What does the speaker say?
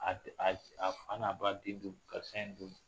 A a fa n'a ba den don, karisa in don.